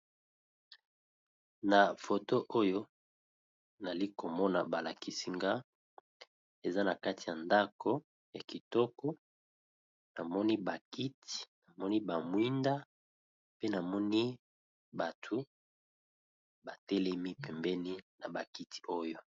Na foto oyo nali komona balakisinga eza na kati ya ndako ya kitoko namoni bakiti namoni bamwinda pe namoni batu batelemi pembeni na bakiti oyo.